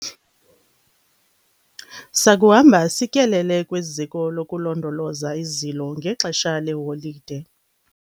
sakuhamba sityelele kwiziko lokulondoloza izilo ngexesha leeholide